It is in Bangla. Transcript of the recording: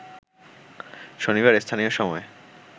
শনিবার স্থানীয় সময়